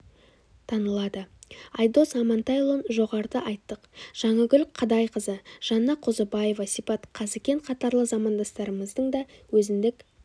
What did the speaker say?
танылады айдос амантайұлын жоғарыда айттық жаңагүл қадайқызы жанна қозыбаева сипат қазыкен қатарлы замандастарымыздың да өзіндік